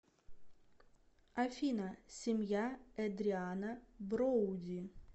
афина семья эдриана броуди